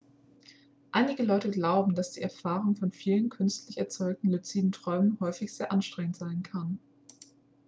einige leute glauben dass die erfahrung von vielen künstlich erzeugten luziden träumen häufig sehr anstrengend sein kann